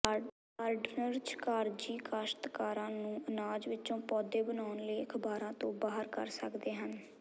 gardeners ਕਾਗਜ਼ੀ ਕਾਸ਼ਤਕਾਰ ਨੂੰ ਅਨਾਜ ਵਿੱਚੋਂ ਪੌਦੇ ਬਣਾਉਣ ਲਈ ਅਖਬਾਰਾਂ ਤੋਂ ਬਾਹਰ ਕਰ ਸਕਦੇ ਹਨ